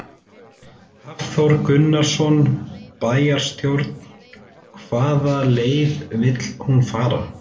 Hafþór Gunnarsson: Bæjarstjórn, hvaða leið vill hún fara?